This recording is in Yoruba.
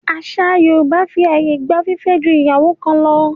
Àṣà Yorùbá fi àyè gba fífẹ́ ju ìyàwó kan lọ.